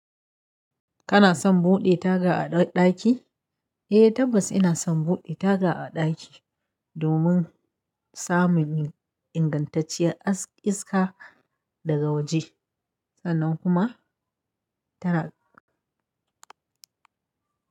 Kana son buɗe taga a ɗaki? Eh tabbas ina son buɗe taga a ɗaki domin samun ingantacciyar iska daga waje sannan kuma tana.